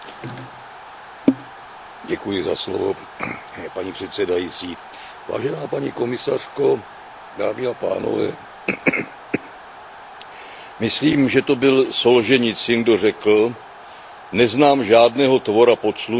Paní předsedající, vážená paní komisařko, myslím, že to byl Solženicyn, kdo řekl Neznám žádného tvora pod sluncem, který by tolik vytrpěl jako ruská žena.